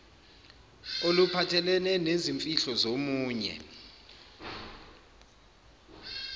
oluphathelene nezimfihlo zomunye